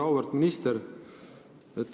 Väga auväärt minister!